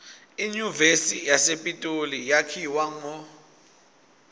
inyuvesi yasepitoli yakhiwa ngo